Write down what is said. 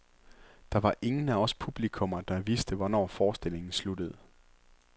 Der var ingen af os publikummer, der vidste, hvornår forestillingen sluttede.